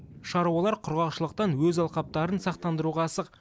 шаруалар құрғақшылықтан өз алқаптарын сақтандыруға асық